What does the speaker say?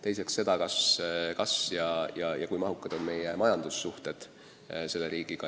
Teiseks seda, kui mahukad on meie majandussuhted selle riigiga.